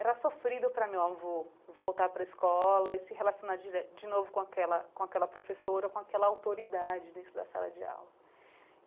Era sofrido para meu avô voltar para a escola e se relacionar dire de novo com aquela com aquela professora, com aquela autoridade dentro da sala de aula.